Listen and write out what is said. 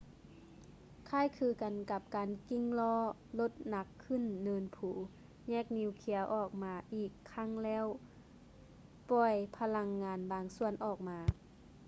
ຄ້າຍຄືກັນກັບການກິ້ງລໍ້ລົດໜັກຂຶ້ນເນີນພູ ແຍກນີວເຄຍອອກມາອີກຄັ້ງແລ້ວປ່ອຍພະລັງງານບາງສ່ວນອອກມາ